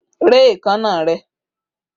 Rẹ́ èékánná rẹ!